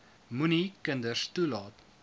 moenie kinders toelaat